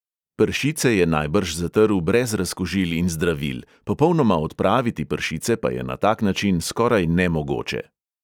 Pršice je najbrž zatrl brez razkužil in zdravil, popolnoma odpraviti pršice pa je na tak način skoraj nemogoče.